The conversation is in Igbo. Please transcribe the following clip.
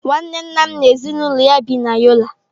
Nwanne nna m n'ezinụlọ ya bi na Yola.